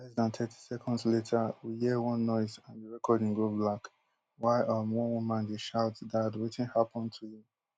less dan thirty seconds later we hear one noise and di recording go black while um one woman dey shout dad wetin happun to you